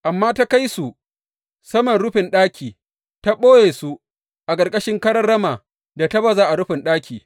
Amma ta kai su saman rufin ɗaki ta ɓoye su a ƙarƙashin karan rama da ta baza a rufin ɗaki.